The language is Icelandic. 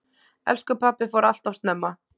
Elsku pabbi fór alltof snemma.